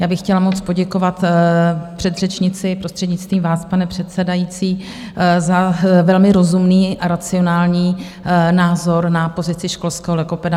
Já bych chtěla moc poděkovat předřečnici, prostřednictvím vás, pane předsedající, za velmi rozumný a racionální názor na pozici školského logopeda.